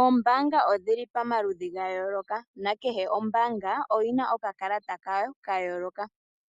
Oombanga odhili pamaludhi ga yooloka nakehe ombanga oyina oka kalata kayo ka yooloka,